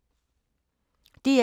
DR P2